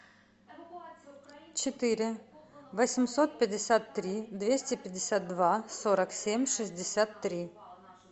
четыре восемьсот пятьдесят три двести пятьдесят два сорок семь шестьдесят три